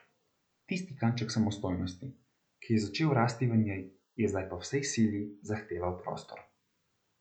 Tisti kanček samostojnosti, ki je začel rasti v njej, je zdaj po vsej sili zahteval prostor.